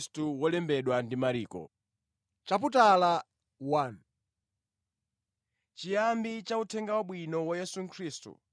Chiyambi cha Uthenga Wabwino wa Yesu Khristu, Mwana wa Mulungu,